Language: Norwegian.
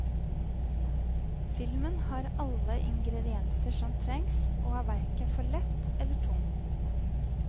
Filmen har alle ingrdienser som trengs, og er verken for lett eller tung.